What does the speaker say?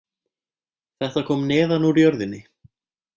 Þetta kom neðan úr jörðinni